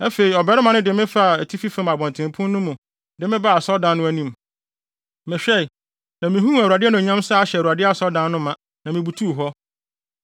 Afei ɔbarima no de me faa atifi fam abɔntenpon no mu de me baa asɔredan no anim. Mehwɛe, na mihuu Awurade anuonyam sɛ ahyɛ Awurade asɔredan no ma, na mibutuw hɔ.